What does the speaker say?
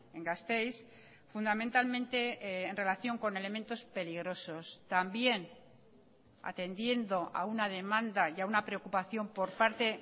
en gasteiz fundamentalmente en relación con elementos peligrosos también atendiendo a una demanda y a una preocupación por parte